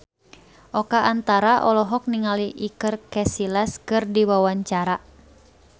Oka Antara olohok ningali Iker Casillas keur diwawancara